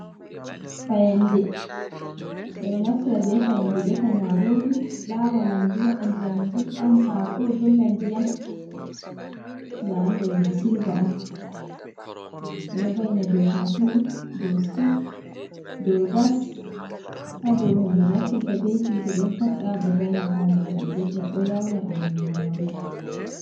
Fayande ɓeɗo naftira be fayande defa marori lawa nyamdu, waɗa ndiyam gulɗam, hako dolla ndiyam nda ɗum ɗo je sylve on, ɓeɗo va'ina dou katine, dou stof, dou gas, ha dou hunde naftirta be hitte ɗo pat ɓe wawan be vaina fande maɓɓe be defira ɗo yauna ɓendugo nyamdu.